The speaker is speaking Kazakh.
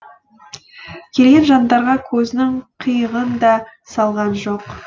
келген жандарға көзінің қиығын да салған жоқ